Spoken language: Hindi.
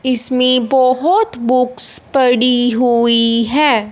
इसमें बहोत बुक्स पड़ी हुई है।